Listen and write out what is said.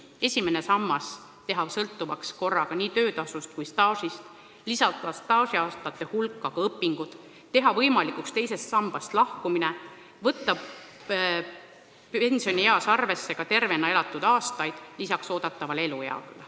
Esimene sammas võiks olla sõltuv korraga nii töötasust kui staažist, staažiaastate hulka võiks arvestada ka õpinguaastad, teha võimalikuks teisest sambast lahkumise ja võtta pensioniea puhul arvesse peale eeldatava eluea ka tervena elatud aastate keskmise arvu.